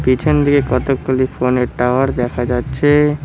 পেছনদিকে কতগুলি ফোন -এর টাওয়ার দেখা যাচ্ছে।